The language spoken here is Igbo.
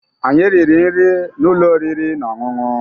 Anyị riri nri na ụlọ oriri na ọṅụṅụ